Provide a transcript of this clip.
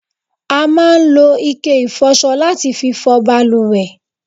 a máa ń lo ike ìfọsọ láti fi fọ baluwẹ̀